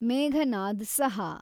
Meghnad Saha